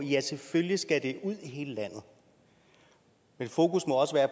ja selvfølgelig skal det ud i hele landet men fokus må også være